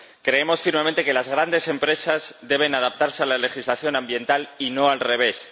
Creemos firmemente que las grandes empresas deben adaptarse a la legislación ambiental, y no al revés.